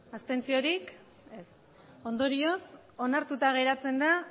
abstentziorik ez ondorioz onartuta geratzen da